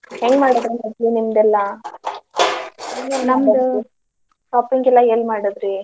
ಹೆಂಗ್ ಮಾಡಿದ್ರ್ ಮದ್ವಿ ನಿಮ್ದೇಲ್ಲಾ? shopping ಎಲ್ಲಾ ಏನ್ ಮಾಡಿದ್ರಿ?